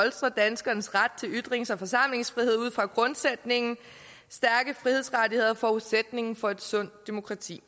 danskernes ret til ytrings og forsamlingsfrihed ud fra grundsætningen stærke frihedsrettigheder er forudsætningen for et sundt demokrati